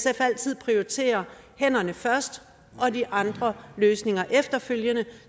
altid prioritere hænderne først og de andre løsninger efterfølgende